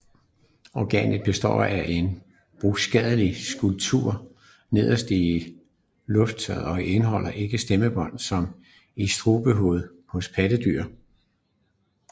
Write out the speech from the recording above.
Organet består af en bruskagtig struktur nederst i luftrøret og indeholder ikke stemmebånd som i strubehovedet hos pattedyr